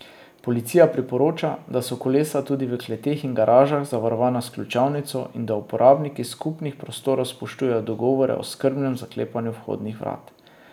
Policija priporoča, da so kolesa tudi v kleteh in garažah zavarovana s ključavnico in da uporabniki skupnih prostorov spoštujejo dogovore o skrbnem zaklepanju vhodnih vrat.